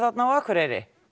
á Akureyri